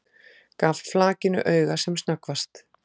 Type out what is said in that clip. Gaf flakinu auga sem snöggvast.